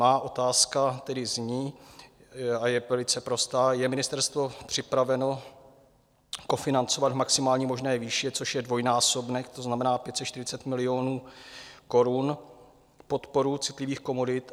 Má otázka tedy zní a je velice prostá: Je ministerstvo připraveno kofinancovat v maximální možné výši, což je dvojnásobek, to znamená 540 milionů korun, podporu citlivých komodit?